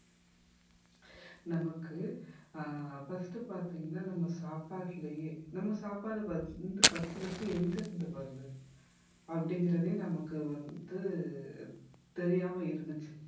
நமக்கு ah first பாத்தீங்கன்னா நம்ம சாப்பாட்டுலயே நம்ம சாப்பாடு வந்து first உ first உ எங்கிருந்து வருது அப்படிங்கிறதே நமக்கு வந்து தெரியாம இருந்துச்சு